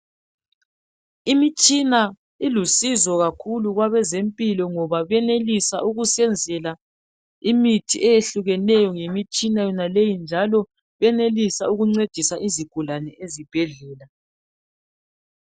Imitshina ilusizo kakhulu kwabezempilo, ngoba bayenelisa ukusenzela imithi etshiyeneyo, ngemitshina yonaleyi, njalo iyenelusa ukusiza izigulane ezibhedlela.